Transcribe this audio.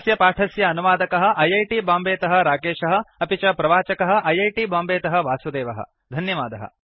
अस्य पाठस्य अनुवादकः ऐ ऐ टि बांबेतः राकेशः अपि च प्रवाचकः ऐ ऐ टि बांबेतः वासुदेवः धन्यवादः